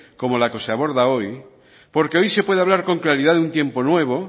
como la que se aborda hoy porque hoy se puede hablar con claridad de un tiempo nuevo